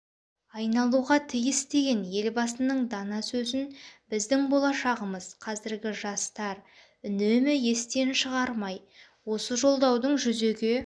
айналуға тиіс деген елбасының дана сөзін біздің болашағымыз-қазіргі жастар үнемі естен шығармай осы жолдаудың жүзеге